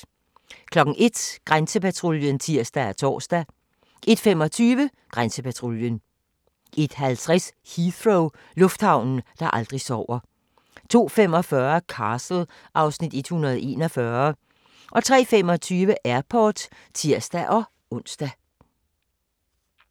01:00: Grænsepatruljen (tir og tor) 01:25: Grænsepatruljen 01:50: Heathrow - lufthavnen, der aldrig sover 02:45: Castle (Afs. 141) 03:25: Airport (tir-ons)